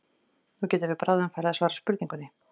Nú getum við bráðum farið að svara spurningunni.